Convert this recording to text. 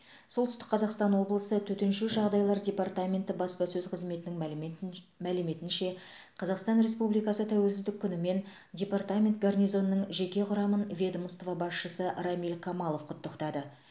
солтүстік қазақстан облысы төтенше жағдайлар департаменті баспасөз қызметінің мәліметнч мәліметінше қазақстан республикасы тәуелсіздік күнімен департамент гарнизонының жеке құрамын ведомство басшысы рамиль камалов құттықтады